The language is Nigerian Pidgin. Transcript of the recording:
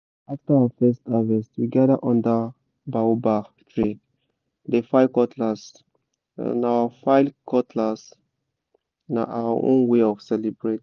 after our first harvest we gather under baobab tree dey file cutlass—na our file cutlass—na our own way of celebrate